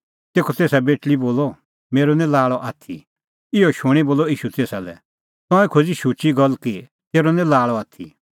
तेखअ तेसा बेटल़ी बोलअ मेरअ निं लाल़अ आथी इहअ शूणीं बोलअ ईशू तेसा लै तंऐं खोज़ी शुची गल्ल कि तेरअ निं लाल़अ आथी